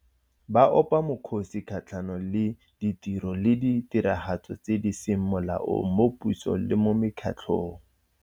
Ba opa mokgosi kgatlhanong le ditiro le ditiragatso tse di seng molaong mo pusong le mo mekgatlhong.